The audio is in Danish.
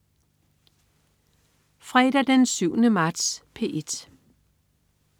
Fredag den 7. marts - P1: